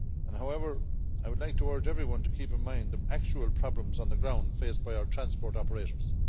However, I would like to urge everyone to keep in mind the actual problems on the ground faced by our transport operators.